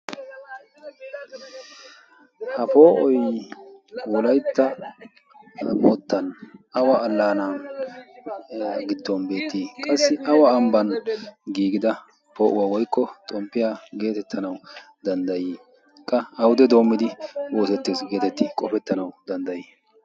ha poo"oy wolaytta alaanan beetii? awa alaanan doomida xomppiya geetetti? qassi awude doomidi oosetana dandayees geetetti qofetii?